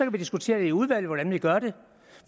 vi diskutere i udvalget hvordan vi gør det